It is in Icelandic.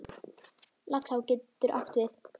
Laxá getur átt við